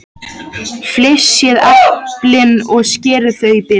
Flysjið eplin og skerið þau í bita.